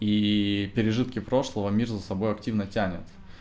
ии пережитки прошлого мир за собой активно тянет